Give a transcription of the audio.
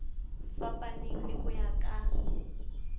fapaneng le ho ya ka